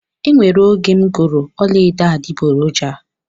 E nwere oge m goro ọla edo adiboroja